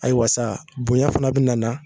Ayiwa saa bonya fana be na na